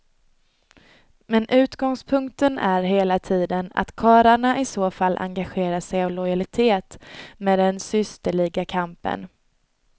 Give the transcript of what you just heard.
Men utgångspunkter är hela tiden att karlarna i så fall engagerar sig av lojalitet med den systerliga kampen.